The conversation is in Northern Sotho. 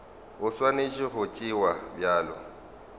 e swanetše go tšewa bjalo